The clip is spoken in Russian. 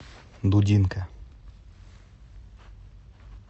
дудинка